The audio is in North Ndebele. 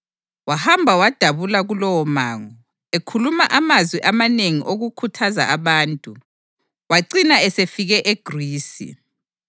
Wahamba wadabula kulowomango, ekhuluma amazwi amanengi okukhuthaza abantu, wacina esefike eGrisi